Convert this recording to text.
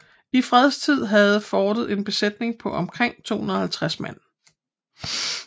I fredstid havde fortet en besætning på omkring 250 mand